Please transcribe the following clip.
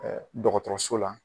dɔgɔtɔrɔso la